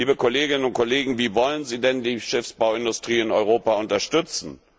Liebe Kolleginnen und Kollegen, wie wollen Sie denn die Schiffsbauindustrie in Europa unterstützen?